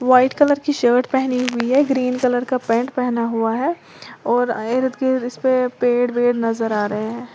White colour की shirt पहनी हुई हैं ग्रीन कलर का पेंट पहना हुआ हैं और इर्ध गिईंध इसपे पेड़ वेड़ नजर आ रहे हैं।